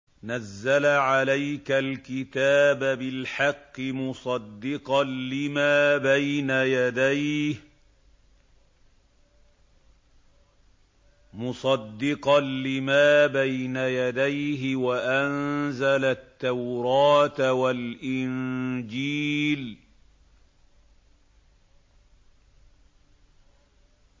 نَزَّلَ عَلَيْكَ الْكِتَابَ بِالْحَقِّ مُصَدِّقًا لِّمَا بَيْنَ يَدَيْهِ وَأَنزَلَ التَّوْرَاةَ وَالْإِنجِيلَ